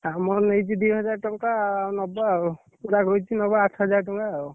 ଆମର ନେଇଛି ଦି ହଜାର ଟଙ୍କା ନବ ଆଉ ପୁରା ଗୋଇତି ନବ ଆଠହଜାରେ ଟଙ୍କା ଆଉ।